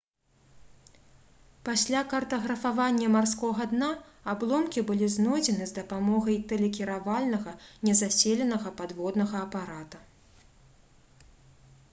пасля картаграфавання марскога дна абломкі былі знойдзены з дапамогай тэлекіравальнага незаселенага падводнага апарата